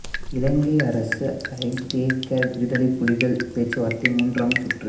இலங்கை அரசு ஐ தே க விடுதலைப் புலிகள் பேச்சுவார்த்தை மூன்றாம் சுற்று